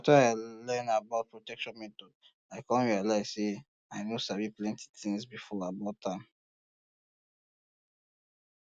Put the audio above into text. after i learn about protection methods um i come realize say i no sabi plenty things before about um am